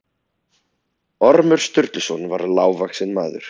Ormur Sturluson var lágvaxinn maður.